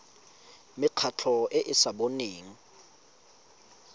mekgatlho e e sa boneng